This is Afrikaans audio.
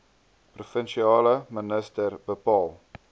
provinsiale minister bepaal